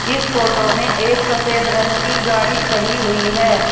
इस फोटो में एक सफेद रंग की गाड़ी खड़ी हुई है।